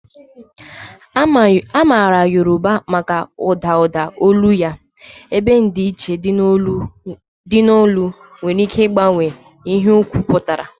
A maara Yoruba maka ụda ụda olu ya, ebe ndịiche dị n'olu nwere ike ịgbanwe ihe okwu pụtara.